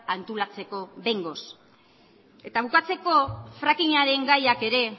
antolatzeko behingoz eta bukatzeko frackingaren gaiak ere